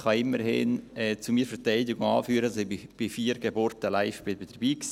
Ich kann zu meiner Verteidigung immerhin anführen, dass ich bei vier Geburten live dabei war.